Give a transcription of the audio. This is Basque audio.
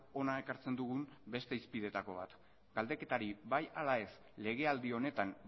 hona ekartzen dugun beste hizpideetako bat galdeketari bai ala ez legealdi honetan